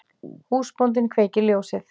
Húsbóndinn kveikir ljósið.